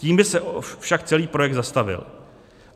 Tím by se však celý projekt zastavil.